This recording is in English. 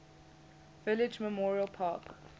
village memorial park